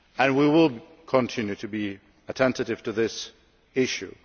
We will continue to be attentive to this issue.